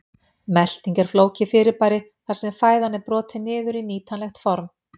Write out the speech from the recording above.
Melting er flókið fyrirbæri þar sem fæðan er brotin niður í nýtanlegt form.